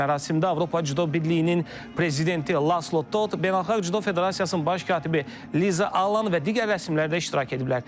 Mərasimdə Avropa Cüdo Birliyinin prezidenti Laslo Tot, Beynəlxalq Cüdo Federasiyasının baş katibi Liza Allan və digər rəsmilər də iştirak ediblər.